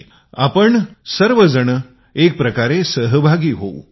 परंतु आपण सर्व एकत्र येऊ